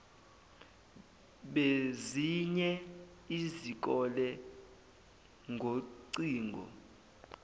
bezinye izikole ngocingo